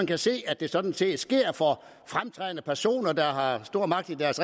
kan se at det sådan set sker for fremtrædende personer der har stor magt i deres